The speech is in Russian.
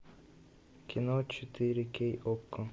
кино четыре кей окко